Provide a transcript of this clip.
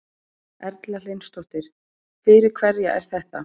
Erla Hlynsdóttir: Fyrir hverja er þetta?